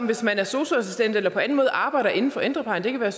hvis man er sosu assistent eller på anden måde arbejder inden for ældreplejen det kan være